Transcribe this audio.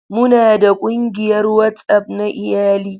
Muna da ƙungiyar WhatsApp na iyali.